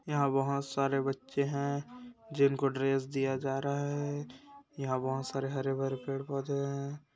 यहाँ बहुत सारे बच्चें हैं जिनको ड्रेस दिया जा रहा हैं यहाँ बहुत सारे हरे-भरे पेड़ पौधे हैं।